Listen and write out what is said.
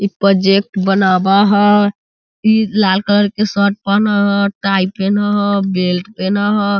इ प्रोजेक्ट बनावा हाई इ लाल कलर के शर्ट पेन्ह हई टाई पेन्ह हई बेल्ट पेन्ह हई।